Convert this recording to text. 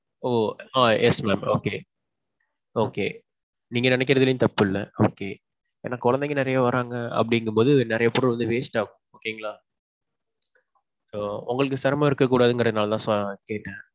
ஓ ஆ yes mam. okay. okay. நீங்க நினைக்குறதிலேயும் தப்பு இல்ல okay. ஆனான் குழந்தைங்க நெறைய வர்றாங்க அப்பிடீங்குற பொது நெறைய food வந்து waste ஆகும். okay ங்களா. உங்களுக்கு சிரமம் இருக்க கூடாதுனுர நால தான் கேட்டேன்.